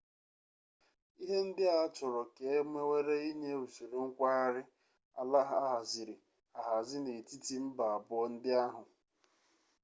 ihe ndị a achọrọ ka e mewere inye usoro nkwagharị ala ahaziri ahazi n'etiti mba abụọ ndị ahụ